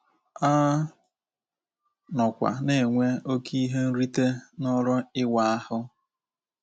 A nọkwa na-enwe oké ihe nrite n’ọrụ ịwa ahụ.